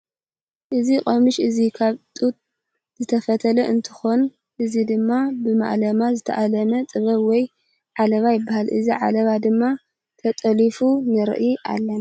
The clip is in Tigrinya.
እዚ ቆሙሽ እዚ ካብ ጡጥ ዝተፈተለ እንትኮን እዚ ድማ ብማእለማ ዝተኣለመ ጥበብ ወይ ዓለባ ይበሃል። እዚ ዓለባ ድም ተጠሊፉ ንርኦ ኣለና።